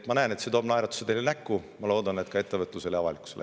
Ma näen, et see toob teile naeratuse näole, ja ma loodan, et ka ettevõtlusele ja avalikkusele.